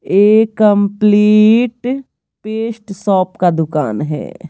ये complete paste shop का दुकान है।